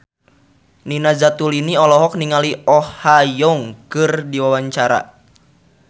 Nina Zatulini olohok ningali Oh Ha Young keur diwawancara